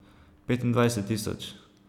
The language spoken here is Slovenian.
Petindvajset tisoč?